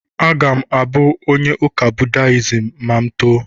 Aga m abụ onye ụka Buddhism ma m too.